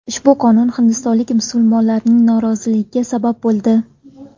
Ushbu qonun hindistonlik musulmonlarning noroziligiga sabab bo‘ldi.